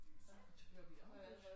Så bliver vi afbrudt